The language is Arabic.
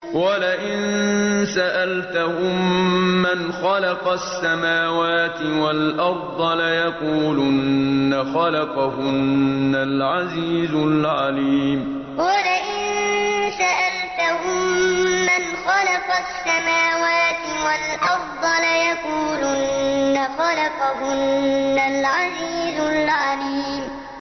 وَلَئِن سَأَلْتَهُم مَّنْ خَلَقَ السَّمَاوَاتِ وَالْأَرْضَ لَيَقُولُنَّ خَلَقَهُنَّ الْعَزِيزُ الْعَلِيمُ وَلَئِن سَأَلْتَهُم مَّنْ خَلَقَ السَّمَاوَاتِ وَالْأَرْضَ لَيَقُولُنَّ خَلَقَهُنَّ الْعَزِيزُ الْعَلِيمُ